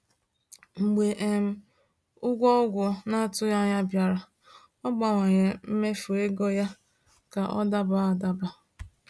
Mgbe um ụgwọ ọgwụ na-atụghị anya ya bịara, ọ gbanwere mmefu ego ya ka ọ dabara adaba.